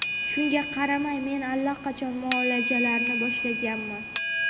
shunga qaramay men allaqachon muolajalarni boshlaganman.